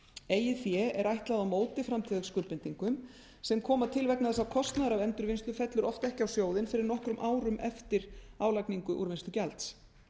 eigið fé er ætlað á móti framtíðarskuldbindingum sem koma til vegna þess að kostnaður af endurvinnslu fellur oft ekki á sjóðinn fyrr en nokkrum árum eftir álagningu úrvinnslugjalds